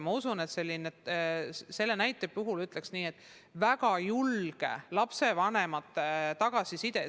Ma usun, et selle näite puhul, ütleksin nii, peab olema väga julge lapsevanemate tagasiside.